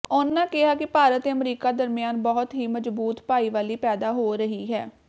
ਉਨ੍ਹਾਂ ਕਿਹਾ ਕਿ ਭਾਰਤ ਤੇ ਅਮਰੀਕਾ ਦਰਮਿਆਨ ਬਹੁਤ ਹੀ ਮਜ਼ਬੂਤ ਭਾਈਵਾਲੀ ਪੈਦਾ ਹੋ ਰਹੀ ਹੈ